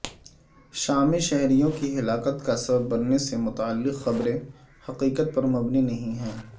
شامی شہریوں کی ہلاکت کا سبب بننے سے متعلق خبریں حقیقت پر مبنی نہیں ہیں